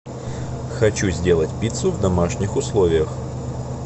хочу сделать пиццу в домашних условиях